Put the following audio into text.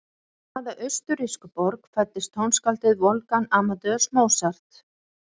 Í hvaða austurrísku borg fæddist tónskáldið Wolfgang Amadeus Mozart?